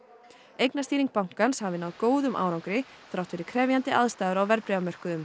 eignastýring bankans hafi náð góðum árangri þrátt fyrir krefjandi aðstæður á verðbréfamörkuðum